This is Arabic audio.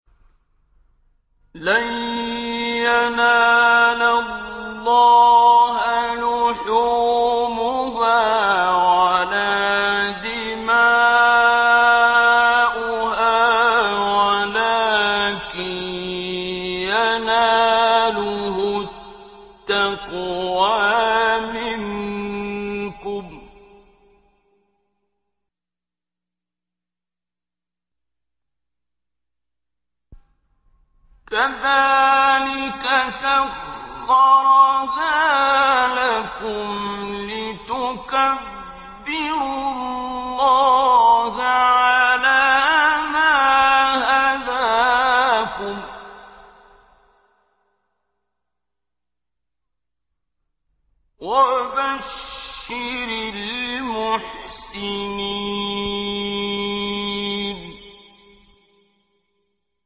لَن يَنَالَ اللَّهَ لُحُومُهَا وَلَا دِمَاؤُهَا وَلَٰكِن يَنَالُهُ التَّقْوَىٰ مِنكُمْ ۚ كَذَٰلِكَ سَخَّرَهَا لَكُمْ لِتُكَبِّرُوا اللَّهَ عَلَىٰ مَا هَدَاكُمْ ۗ وَبَشِّرِ الْمُحْسِنِينَ